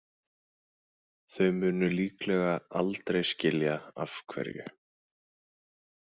Þau munu líklega aldrei skilja af hverju.